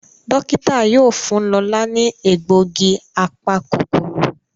Dókítà yóò fún Lọla ní egbògi apa-kòkòrò.